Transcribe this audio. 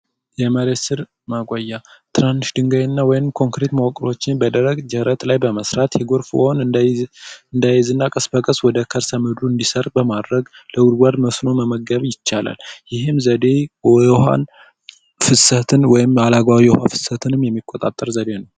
የመሬት ሥር ማቆያ ትናንሽ ድንጋይ እና ወይም ኮንክሪት መዋቅሮችን በደረቅ መሬት ላይ በመሥራት የጎርፍ እንዲያያዝና ቀስ በቀስ ወደ ከርሰ ምድሩ እንዲሰርግ በማድረግ ለጉድጓድ መስኖ መመገብ ይቻላል። ይህም ዘዴ የውሀን ፍሰትን ወይም አላግባብ የውሃ ፍሰትን የሚቆጣጠረው ዘዴ ነው።